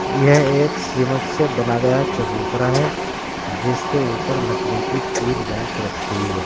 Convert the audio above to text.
यह एक सिमट से बना गया चबूतरा है जिसके ऊपर लकड़ी की तीन बेंच रखी हुई है।